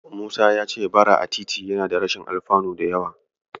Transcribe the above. Musa ya ce Bara a titi yana da rashin alfanu da yawa.